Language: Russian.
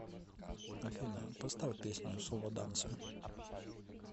афина поставь песню соло дансе